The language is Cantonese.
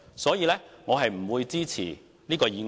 所以，我不會支持這項議案。